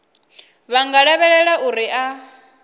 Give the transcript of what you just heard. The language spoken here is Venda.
vha nga lavhelela uri a